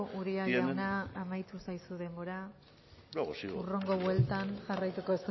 uria jauna amaitu zaizu denbora luego sigo hurrengo bueltan jarraituko